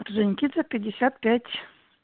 орджоникидзе пятьдесят пять